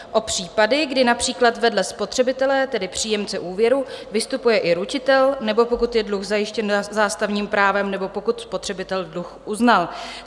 O případy, kdy například vedle spotřebitele, tedy příjemce úvěru, vystupuje i ručitel, nebo pokud je dluh zajištěn zástavním právem nebo pokud spotřebitel dluh uznal.